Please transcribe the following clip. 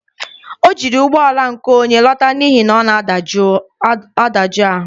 O jiri ụgbọala nke onye lọta n'ihi na ọ na-adajụ ahụ.